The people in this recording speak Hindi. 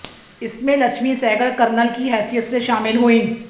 इसमें लक्ष्मी सहगल कर्नल की हैसियत से शामिल हुई